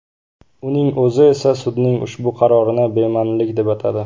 Uning o‘zi esa sudning ushbu qarorini bema’nilik deb atadi.